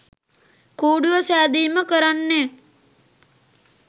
කූඩුව සෑදීම කරන්නෙත්